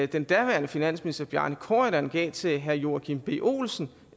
den daværende finansminister bjarne corydon gav til herre joachim b olsen